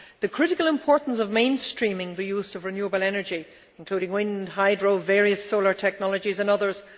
It is of critical importance to mainstream the use of renewable energy including wind, hydro, various solar technologies and others.